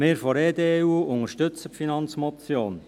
Wir von der EDU unterstützen die Finanzmotion.